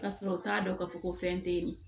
Ka sɔrɔ u t'a dɔn k'a fɔ ko fɛn tɛ yen